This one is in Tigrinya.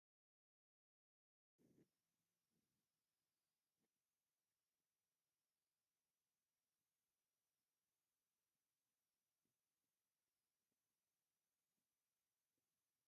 ሳዕሪ ዝኽዳና ንኡሽተይ ናይ ግድግዳ ገዛ እኔቶ፡፡ ወለድና ቆርቆሮ ኣብዘይፍልጠሉ ዘመን ብኸምዚ መንገዱ ገዛ ሰሪሖም እዮም፡፡ እዚ ስራሕ ደስ ዶ ይብል?